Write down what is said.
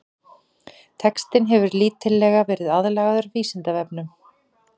Textinn hefur lítillega verið aðlagaður Vísindavefnum.